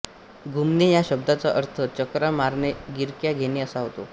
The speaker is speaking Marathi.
घुमणे या शब्दाचा अर्थ चकरा मारणे गिरक्या घेणे असा होतो